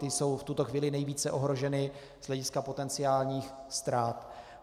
Ty jsou v tuto chvíli nejvíce ohroženy z hlediska potenciálních ztrát.